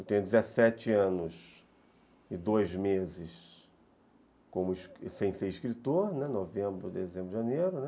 Eu tenho dezessete anos e dois meses como, sem ser escritor, novembro, dezembro, janeiro, né.